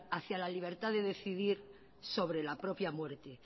hacia la libertad de decidir sobre la propia muerte